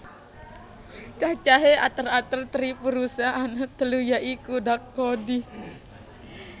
Cacahé ater ater tripurusa ana telu ya iku dak ko di